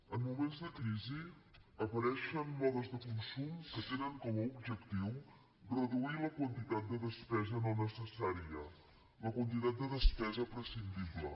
en moments de crisi apareixen modes de consum que tenen com a objectiu reduir la quantitat de despesa no necessària la quantitat de despesa prescindible